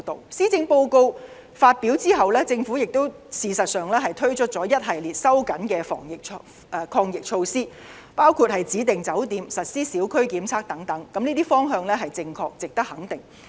事實上，施政報告發表後，政府推出一系列收緊的防疫抗疫措施，包括指定酒店，實施小區檢測等，這些方向是正確值得肯定。